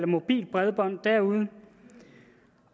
mobilt bredbånd derude